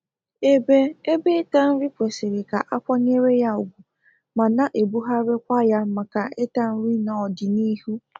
Ebe Ebe ịta nri kwesiri ka akwanyere ya ugwu ma na-ebugharịkwa ya maka ịta nri n'odị n'ihu